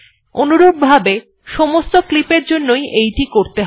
অনুরূপভাবে সমস্ত ক্লিপের জন্যই এটি করতে হবে